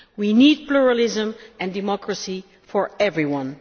We need pluralism and democracy for everyone.